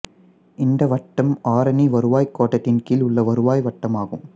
இந்த வட்டம் ஆரணி வருவாய் கோட்டத்தின் கீழ் உள்ள வருவாய் வட்டமாகும்